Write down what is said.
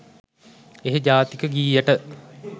එහෙ ජාතික ගීයට